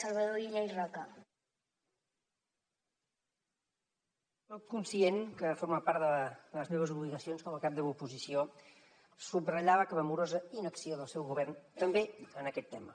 soc conscient que forma part de les meves obligacions com a cap de l’oposició subratllar la clamorosa inacció del seu govern també en aquest tema